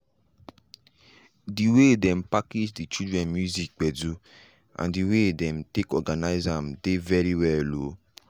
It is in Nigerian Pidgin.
de way dem package de children music gbedu and the way them take organize am dey very well o.